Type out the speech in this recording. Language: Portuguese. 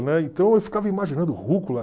Né, então eu ficava imaginando rúcula.